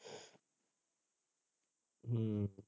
ਹਮ